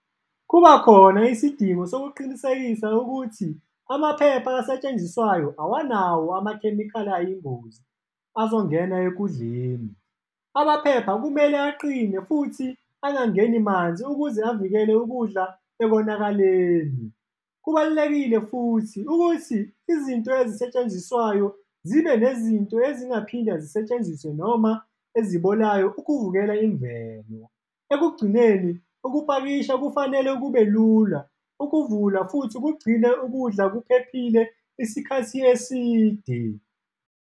Kuba khona isidingo sokuqinisekisa ukuthi amaphepha asetshenziswayo awanawo amakhemikhali ayingozi, azongena ekudleni. Amaphepha kumele aqine futhi angangeni manzi ukuze avikele ukudla ekonakaleni. Kubalulekile futhi ukuthi izinto ezisetshenziswayo zibe nezinto ezingaphinde zisetshenziswe noma ezibolayo, ukubukela imvelo. Ekugcineni, ukupakisha kufanele kube lula, ukuvula futhi kugcinwe ukudla kuphephile isikhathi eside.